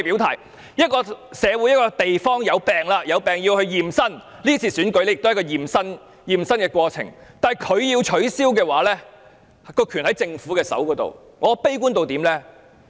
當一個社會或一個地方生病，便需要驗身，這次選舉便是一次驗身的過程，但如果要取消，權力便在政府手上。